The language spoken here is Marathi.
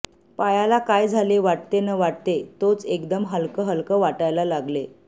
पायाला काय झाले वाटते न वाटते तोच एकदम हलकं हलकं वाटायला लागले